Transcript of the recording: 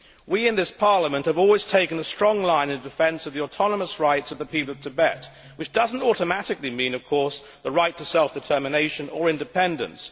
We in this Parliament have always taken a strong line in defence of the autonomous rights of the people of Tibet, which does not automatically mean the right to self determination or independence.